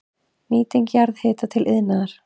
Nýting jarðhita til iðnaðar